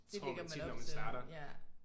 Det lægger man op til ja